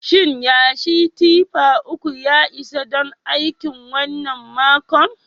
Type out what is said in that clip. Shin yashi tiffa uku ya isa don aikin wannan makon?